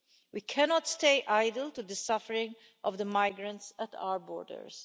We cannot stay idle to the suffering of the migrants at our borders.